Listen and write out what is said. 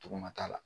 Togo ma k'a la